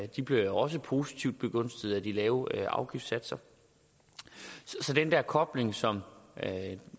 de bliver også positivt begunstiget af de lave afgiftssatser så den der kobling som